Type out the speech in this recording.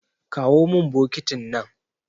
Kawo min bokitin nan.